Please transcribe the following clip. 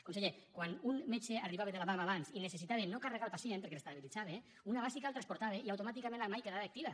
conseller quan un metge arribava de la vam abans i necessitava no carregar el pacient perquè l’estabilitzava una bàsica el transportava i automàticament la mike quedava activa